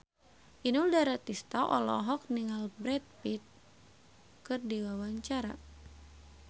Inul Daratista olohok ningali Brad Pitt keur diwawancara